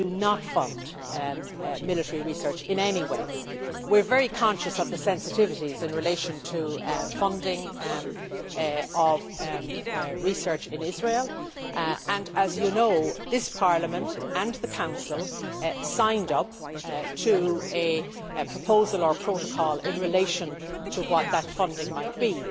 We do not fund military research in any way. We are very conscious of the sensitivities in relation to the funding of research in Israel. As you know, this Parliament and the Council signed up to a proposal or protocol in relation to what that funding might be.